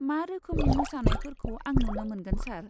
मा रोखोमनि मोसानायफोरखौ आं नुनो मोनगोन सार?